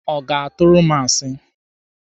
Ọ ga-atụrụ m asi?